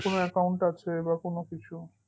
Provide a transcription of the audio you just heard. কোন account আছে বা কোন কিছু